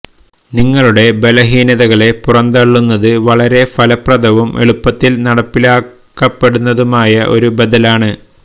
നിങ്ങളുടെ ബലഹീനതകളെ പുറംതള്ളുന്നത് വളരെ ഫലപ്രദവും എളുപ്പത്തിൽ നടപ്പിലാക്കപ്പെടുന്നതുമായ ഒരു ബദലാണ്